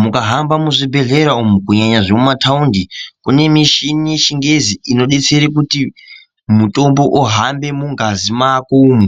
Mukahamba muzvibhedhlera umu kunyanya zvemumataundi kune mishini wechingezi unodetsera kuti mutombo uhambe mungazi mako umu